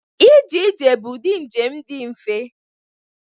Ije ije bụ ụdị njem dị mfe.